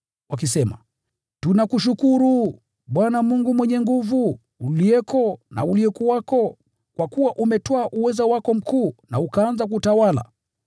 wakisema: “Tunakushukuru, Bwana Mungu Mwenyezi, uliyeko na uliyekuwako, kwa kuwa umetwaa uweza wako mkuu na ukaanza kutawala.